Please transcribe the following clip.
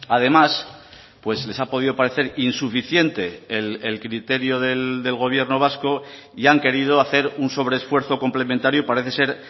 además pues les ha podido parecer insuficiente el criterio del gobierno vasco y han querido hacer un sobreesfuerzo complementario parece ser